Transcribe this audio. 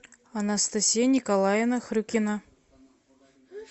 анастасия николаевна хрюкина